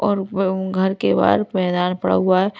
और उ घर के बाहर मैदान पड़ा हुआ है।